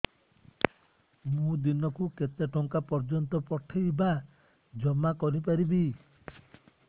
ମୁ ଦିନକୁ କେତେ ଟଙ୍କା ପର୍ଯ୍ୟନ୍ତ ପଠେଇ ବା ଜମା କରି ପାରିବି